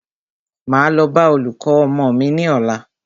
Máa lọ bá olùkọ́ ọmọ mí ní ọ̀la.